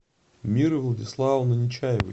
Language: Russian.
миры владиславовны нечаевой